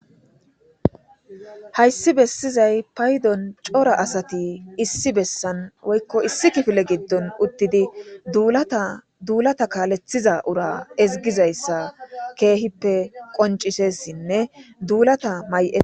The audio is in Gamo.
hayssi bessizay paydon cora asati issi bessan woykko issi kifile giddon uttidi duulata kaalethiza ura ezgizayssa keehippe qoncisessinne duulata may'e